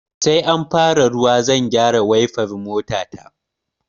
Sai an fara ruwa zan gyara waifar mota ta